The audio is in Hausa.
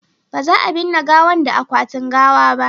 ba za a binne gawan da akwatin gawa ba